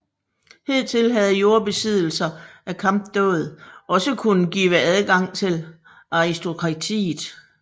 Hidtil havde jordbesiddelser og kampdåd også kunnet give adgang til aristokratiet